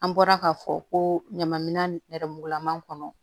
An bɔra k'a fɔ ko ɲama minan nɛrɛmugulaman kɔnɔ